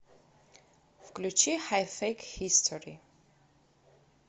включи хай фэйк хистори